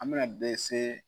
An bɛna dɛsɛ.